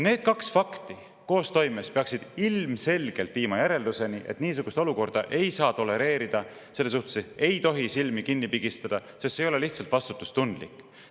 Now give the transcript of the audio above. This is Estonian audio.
Need kaks fakti koostoimes peaksid ilmselgelt viima järelduseni, et niisugust olukorda ei saa tolereerida, selle ees ei tohi silmi kinni pigistada, sest see ei ole lihtsalt vastutustundlik.